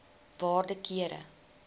waarde kere